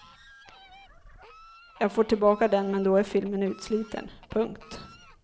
Jag får tillbaka den men då är filmen utsliten. punkt